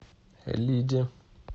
лиде